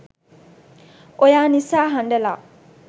oya nisa handala